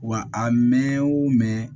Wa a mɛɛn o mɛn